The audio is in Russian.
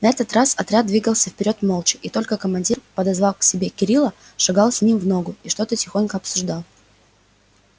на этот раз отряд двигался вперёд молча и только командир подозвав к себе кирилла шагал с ним в ногу и что-то тихонько обсуждал